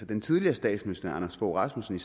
den tidligere statsminister anders fogh rasmussen